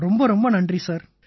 ரொம்ப ரொம்ப நன்றி சார்